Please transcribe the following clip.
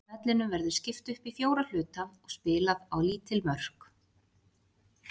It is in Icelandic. Vellinum verður skipt upp í fjóra hluta og spilað á lítið mörk.